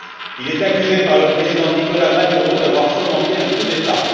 Il est accusé par le président Nicolas Maduro d'avoir fomenté un coup d'État.